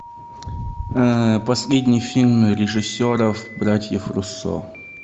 последний фильм режиссеров братьев руссо